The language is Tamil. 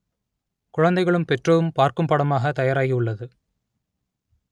குழந்தைகளும் பெற்றோரும் பார்க்கும் படமாக தயாராகி உள்ளது